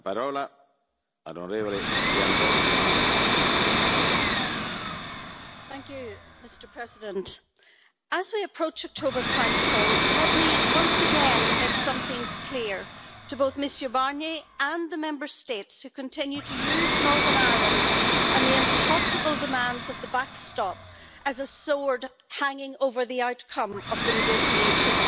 Mr President, as we approach the October Council, let me once again make some things clear to both Mr Barnier and the Member States who continue to use Northern Ireland and the impossible demands of the backstop as a sword hanging over the outcome of the negotiations.